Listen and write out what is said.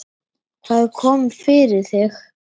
Hvað kom fyrir þig?